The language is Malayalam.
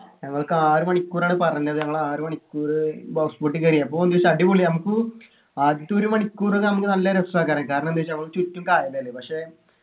ഞങ്ങൾക്ക് ആറുമണിക്കൂറാണ് പറഞ്ഞത് ഞങ്ങൾ ആറു മണിക്കൂറ് house boat ൽ കേറി അപ്പൊ എന്നുവെച്ചാ അടിപൊളിയാ നമുക്ക് ആദ്യത്തെ ഒരു മണിക്കൂർ നമ്മക്ക് നല്ല രസാ കാരണന്താച്ചാ നമുക്ക് ചുറ്റും കായലല്ലേ പക്ഷെ